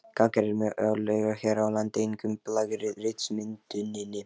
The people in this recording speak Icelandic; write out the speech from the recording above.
Gangar eru mjög algengir hér á landi, einkum í blágrýtismynduninni.